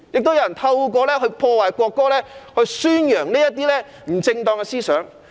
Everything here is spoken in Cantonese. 有人透過破壞國歌，宣揚不正當的思想。